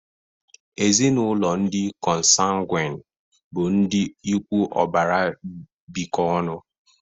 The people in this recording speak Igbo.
Ezinaụlọ ndị Consanguine bụ ndị ikwu ọbara bikọ ọnụ.